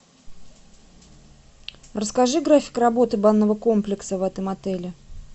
расскажи график работы банного комплекса в этом отеле